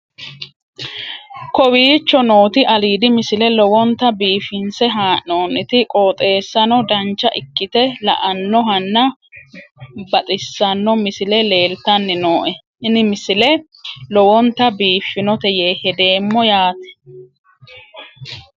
kowicho nooti aliidi misile lowonta biifinse haa'noonniti qooxeessano dancha ikkite la'annohano baxissanno misile leeltanni nooe ini misile lowonta biifffinnote yee hedeemmo yaate